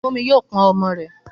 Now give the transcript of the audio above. Fúnmi yóò pọn ọmọ rẹ̀.